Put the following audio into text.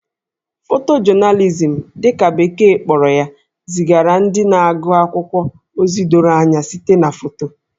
Photojournalism' dị ka beke kpọrọ ya zigara ndị na-agụ akwụkwọ ozi doro anya site na foto